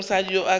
ge mosadi yoo a ka